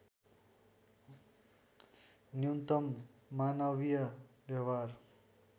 न्यूनतम मानवीय व्यवहार